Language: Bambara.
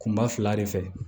Kunba fila de fɛ